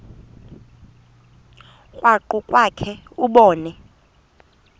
krwaqu kwakhe ubone